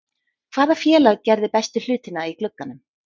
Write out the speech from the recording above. Hvaða félag gerði bestu hlutina í glugganum?